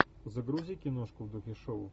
загрузи киношку в духе шоу